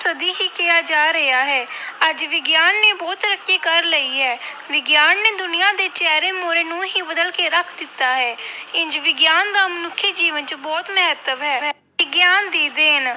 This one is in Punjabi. ਸਦੀ ਹੀ ਕਿਹਾ ਜਾ ਰਿਹਾ ਹੈ ਅੱਜ ਵਿਗਿਆਨ ਨੇ ਬਹੁਤ ਤਰੱਕੀ ਕਰ ਲਈ ਹੈ ਵਿਗਿਆਨ ਨੇ ਦੁਨੀਆ ਦੇ ਚਿਹਰੇ ਮੂਹਰੇ ਨੂੰ ਹੀ ਬਦਲ ਕੇ ਰੱਖ ਦਿੱਤਾ ਹੈ ਇੰਞ ਵਿਗਿਆਨ ਦਾ ਮਨੁੱਖੀ ਜੀਵਨ ਵਿੱਚ ਬਹੁਤ ਮਹੱਤਵ ਹੈ, ਵਿਗਿਆਨ ਦੀ ਦੇਣ